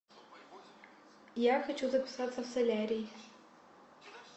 я хочу записаться в солярий